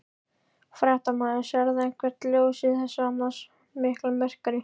Fréttamaður: Sérðu eitthvert ljós í þessu annars mikla myrkri?